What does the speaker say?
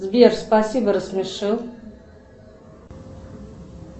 сбер спасибо рассмешил